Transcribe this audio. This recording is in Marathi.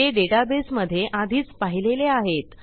ते डेटाबेसमधे आधीच पाहिलेले आहेत